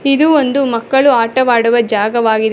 ಇದು ಒಂದು ಮಕ್ಕಳು ಆಟವಾಡುವ ಜಾಗವಾಗಿದೆ.